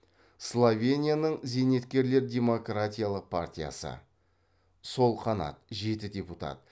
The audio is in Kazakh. словенияның зейнеткерлер демократиялық партиясы сол қанат жеті депутат